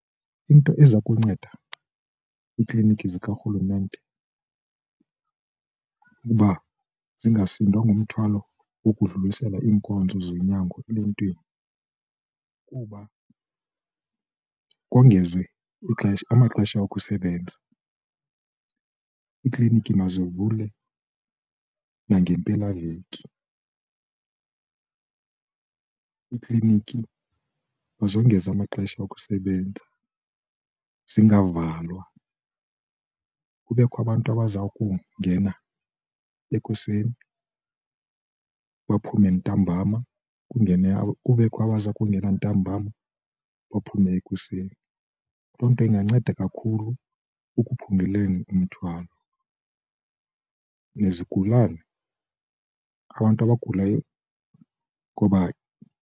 Into eza kunceda iiklinikhi zikarhulumente ukuba zingasindwa ngomthwalo wokudlulisela iinkonzo zonyango eluntwini kuba kongezwe ixesha amaxesha okusebenza, iikliniki mazivulwe nangempelaveki, iikliniki mazongeze amaxesha okusebenza zingavalwa kubekho abantu abaza kungena ekuseni baphume ntambam kungene kubekho abaza kungena kungena ntambam baphume ekuseni. Loo nto inganceda kakhulu ekuphunguleni umthwalo nezigulane abantu abagulayo ngoba.